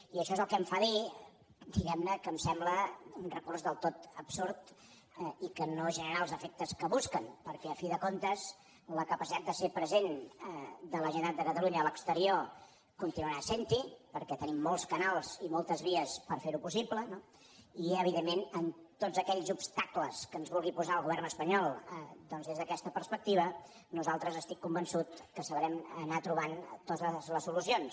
i això és el que em fa dir diguem ne que em sembla un recurs del tot absurd i que no generarà els efectes que busquen perquè al cap i a la fi la capacitat de ser present de la generalitat de catalunya a l’exterior continuarà sent hi perquè tenim molts canals i moltes vies per fer ho possible no i evidentment en tots aquells obstacles que ens vulgui posar el govern espanyol doncs des d’aquesta perspectiva nosaltres estic convençut que sabrem anar trobant totes les solucions